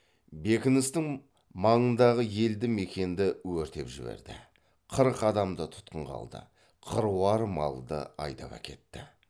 бекіністің маңындағы елді мекенді өртеп жіберді қырық адамды тұтқынға алды қыруар малды айдап әкетті